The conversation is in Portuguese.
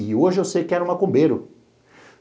E hoje eu sei que era um macumbeiro.